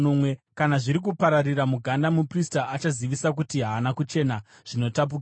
Kana zviri kupararira muganda, muprista achazivisa kuti haana kuchena, zvinotapukira.